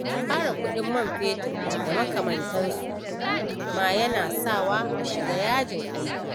Ƙarin kuɗin man fetur da makamantansa ma yana sawa a shiga yajin aiki.